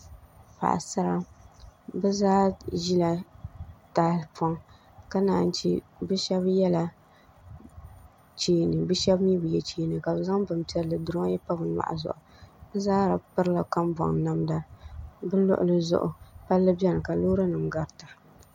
Paɣasara bi zaa ʒila tahapoŋ ka naan yi chɛ bi shab yɛla cheeni bi shab mii bi yɛ cheeni ka bi zaŋ bin piɛlli n duroyi pa bi nyoɣu zuɣu bi zaa pirila kambɔŋ namda bi luɣuli zuɣu palli biɛni ka loori nim garita